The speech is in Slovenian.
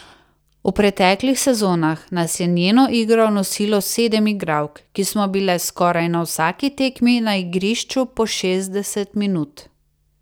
V preteklih sezonah nas je njeno igro nosilo sedem igralk, ki smo bile skoraj na vsaki tekmi na igrišču po šestdeset minut.